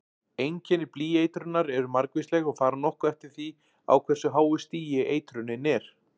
Einkenni blýeitrunar eru margvísleg og fara nokkuð eftir því á hversu háu stigi eitrunin er.